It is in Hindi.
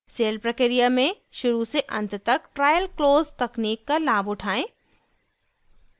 सेल प्रक्रिया में शुरू से अंत तक ट्रायल क्लोज़ तकनीक का लाभ उठायें